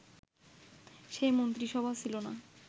সেই মন্ত্রিসভা ছিল